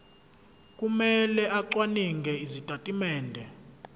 kumele acwaninge izitatimende